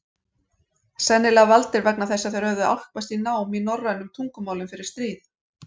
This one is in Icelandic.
Sennilega valdir vegna þess að þeir höfðu álpast í nám í norrænum tungumálum fyrir stríð.